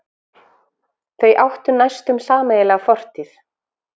Þau áttu næstum sameiginlega fortíð.